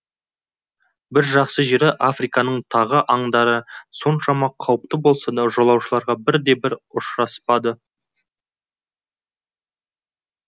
бір жақсы жері африканың тағы аңдары соншама қауіпті болса да жолаушыларға бірде бірі ұшыраспады